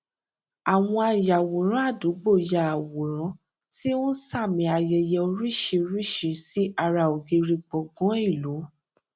àwọn ayàwòrán àdúgbò ya àwòrán tí ó ń sààmì ayẹyẹ oríṣiríṣi sí ara ògiri gbọgán ìlú